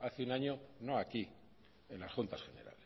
hace un año no aquí en las juntas generales